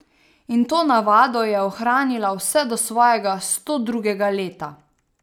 In to navado je ohranila vse do svojega stodrugega leta.